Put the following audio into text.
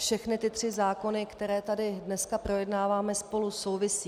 Všechny ty tři zákony, které tady dnes projednáváme, spolu souvisí...